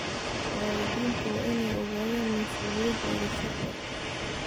Waalidiintu waa inay ogaadaan mas'uuliyadahooda sharci.